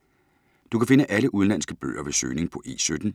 Du kan finde alle udenlandske bøger ved søgning på E17.